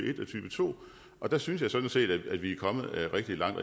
to og der synes jeg sådan set vi er kommet rigtig langt